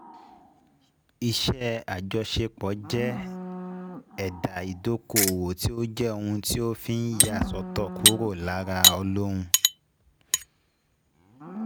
Iṣẹ́ àjọṣepọ̀ jẹ́ ẹ̀dà ìdókòwò tí ó jẹ́ òun tí òfin yà sọ́tọ̀ kúrò lára olóun